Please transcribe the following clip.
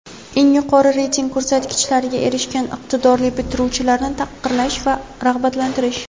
eng yuqori reyting ko‘rsatkichlariga erishgan iqtidorli bitiruvchilarni taqdirlash va rag‘batlantirish;.